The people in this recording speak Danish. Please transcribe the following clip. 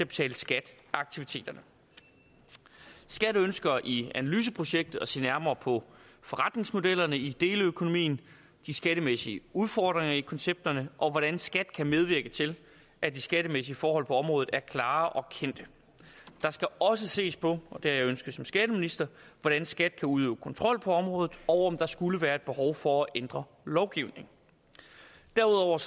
betale skat af aktiviteterne skat ønsker i analyseprojektet at se nærmere på forretningsmodellerne i deleøkonomien de skattemæssige udfordringer i koncepterne og hvordan skat kan medvirke til at de skattemæssige forhold på området er klare og kendte der skal også ses på det har jeg ønsket som skatteminister hvordan skat kan udøve kontrol på området og om der skulle være et behov for at ændre lovgivningen derudover